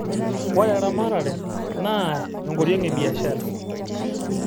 ore eramatae naa enkoriong e biashara